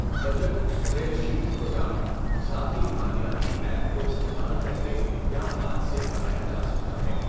Budget spreadsheet programme, ذاتی مالیاتی app کو استعمال کر کے یا ہاتھ سے بنایا جا سکتا ہے۔